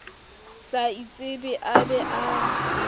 sa itsebe a be a